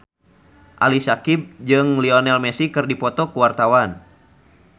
Ali Syakieb jeung Lionel Messi keur dipoto ku wartawan